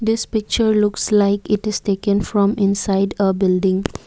this picture looks like it is taken from inside a building.